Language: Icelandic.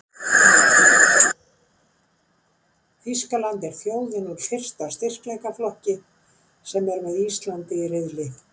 Þýskaland er þjóðin úr fyrsta styrkleikaflokki sem er með Íslandi í riðli.